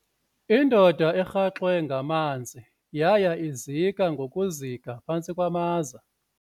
Indoda erhaxwe ngamanzi yaya ngokuzika ngokuzika phantsi kwamaza.